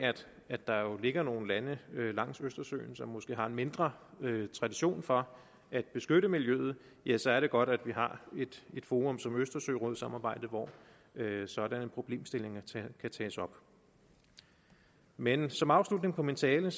at der jo ligger nogle lande langs østersøen som måske har en mindre tradition for at beskytte miljøet ja så er det godt at vi har et forum som østersørådssamarbejdet hvor sådanne problemstillinger kan tages op men som afslutning på min tale